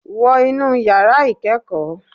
Wọ inú yàrá ìkẹ́ẹ̀kọ́!